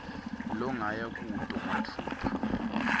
longaya kuto matfupha